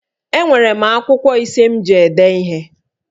Enwere m akwụkwọ ise m ji ede ihe